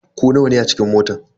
Ku nawa ne a cikin motan.